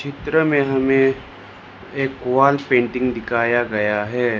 चित्र में हमें एक वॉलपेंटिंग दिखाया गया है।